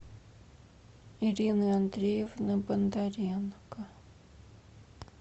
ирины андреевны бондаренко